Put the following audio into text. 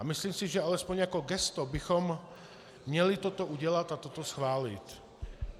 A myslím si, že alespoň jako gesto bychom měli toto udělat a toto schválit.